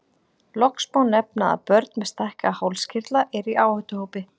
Loks má nefna að börn með stækkaða hálskirtla eru í áhættuhópi.